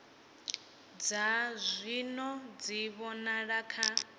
dza zwino dzi vhonala kha